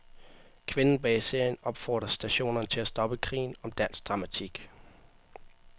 Kvinden bag serien opfordrer stationerne til at stoppe krigen om dansk dramatik.